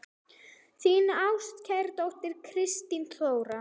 Þín ástkær dóttir, Kristín Þóra.